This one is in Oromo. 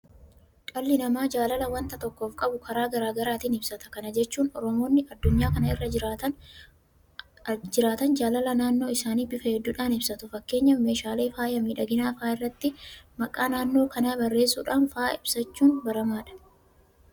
Dhalli namaa jaalala waanta tokkoof qabu karaa garaa garaatiin ibsata. Kana jechuun Oromoonni addunyaa kana irra jiraatan jaalala naannoo isaanii bifa hedduudhaan ibsatu. Fakkeenyaaf meeshaalee faaya miidhaginaa fa'aa irratti maqaa naannoo kanaa barreessuudhaan fa'aa ibsachuun baramaadha.